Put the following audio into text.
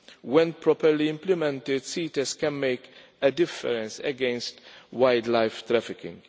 When properly implemented, CITES can make a difference against wildlife trafficking.